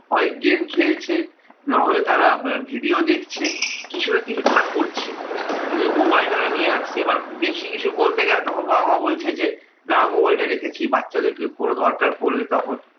হয় game খেলছে নাহলে তারা video দেখছে, কিছু না কিছু তারা করছে । কিন্তু ওই মোবাইল টা ওরা নিয়ে আসছে এবার বেশি কিছু বলতে গেলে তখন বাবা মা বলছে যে, না মোবাইল টা রেখেছি বাচ্চাদের কেউ কোনো দরকার পড়লে তখন